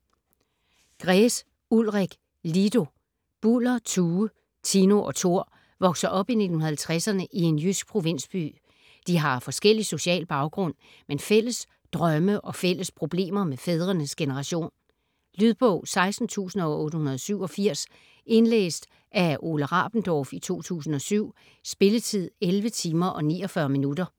Gräs, Ulrik: Lido Buller, Tue, Tino og Tor vokser op i 1950'erne i en jysk provinsby. De har forskellig social baggrund, men fælles drømme og fælles problemer med fædrenes generation. Lydbog 16887 Indlæst af Ole Rabendorf, 2007. Spilletid: 11 timer, 49 minutter.